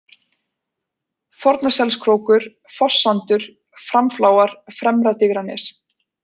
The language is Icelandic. Fornaselskrókur, Fosssandur, Framfláar, Fremra-Digranes